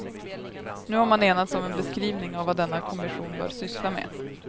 Nu har man enats om en beskrivning av vad denna kommission bör syssla med.